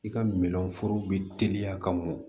I ka minɛn foro bɛ teliya ka mɔn